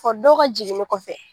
Kɔri dɔw ka jiginni kɔfɛ